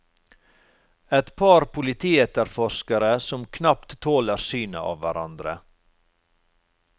Et par politietterforskere som knapt tåler synet av hverandre.